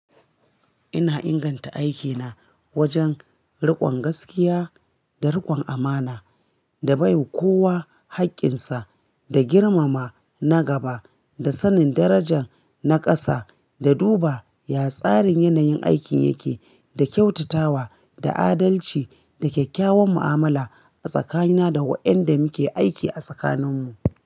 Ina inganta aikina wajen riƙon gaskiya da riƙon amana da baiwa kowa haƙƙin sa da girmama na gaba da sanin darajar na ƙasa da duba yatsarin yanayin aikin yake da kyautatawa da adalci da kyakkyawan mu'amala a tsakanina da waɗanda muke aiki a tsakaninmu.